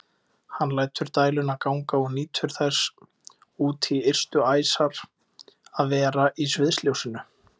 Hann lætur dæluna ganga og nýtur þess út í ystu æsar að vera í sviðsljósinu.